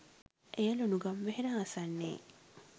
එය ලුණුගම්වෙහෙර ආසන්නයේ